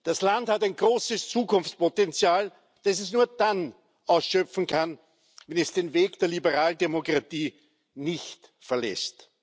Das Land hat ein großes Zukunftspotenzial, das es nur dann ausschöpfen kann, wenn es den Weg der Liberaldemokratie nicht verlässt.